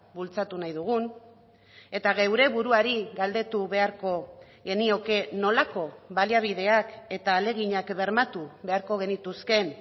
bultzatu nahi dugun eta geure buruari galdetu beharko genioke nolako baliabideak eta ahaleginak bermatu beharko genituzkeen